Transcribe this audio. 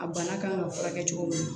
A bana kan ka furakɛ cogo min